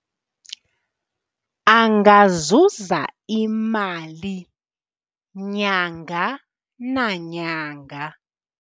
Angazuza imali nyanga nanyanga.